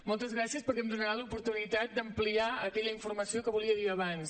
moltes gràcies perquè em donarà l’oportunitat d’ampliar aquella informació que volia dir abans